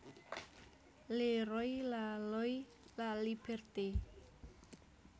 Le Roi la Loi la Liberté